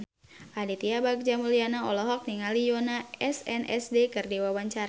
Aditya Bagja Mulyana olohok ningali Yoona SNSD keur diwawancara